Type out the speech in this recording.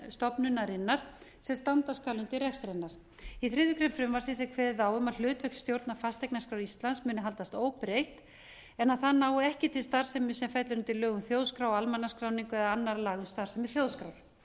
stofnunarinnar sem standa skal undir rekstri hennar í þriðju grein er kveðið á um að hlutverk stjórnar fasteignaskrár íslands muni haldast óbreytt en að það nái ekki til starfsemi sem fellur undir lög um þjóðskrá og almannaskráningu eða annarra laga um starfsemi þjóðskrár